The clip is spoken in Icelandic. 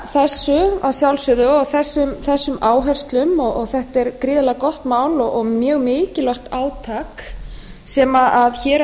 ég fagna þessu að sjálfsögðu og þessum áherslum og þetta er gríðarlega gott mál og mjög mikilvægt átak sem hér